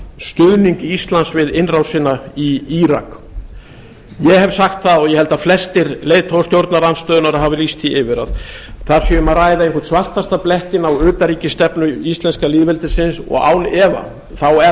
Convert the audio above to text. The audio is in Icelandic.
stuðning íslands við innrásina í írak ég hef sagt það og ég held að flestir leiðtogar stjórnarandstöðunnar hafi lýst því yfir að þar sé um að ræða einhvern svartasta blettinn á utanríkisstefnu íslenska lýðveldisins og án efa er